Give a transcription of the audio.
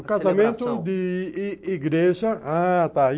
A celebração, o casamento de i igreja... Ah, tá.